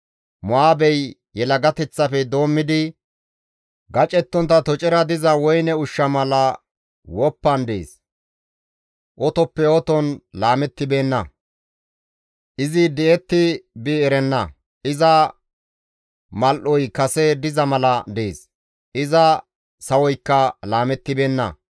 «Mo7aabey yelagateththafe doommidi gacettontta tocera diza woyne ushsha mala woppan dees; otoppe oton laamettibeenna; izi di7etti bi erenna; iza mal7oy kase diza mala dees; iza sawoykka laamettibeenna.